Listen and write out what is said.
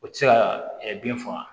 O tɛ se ka bin faga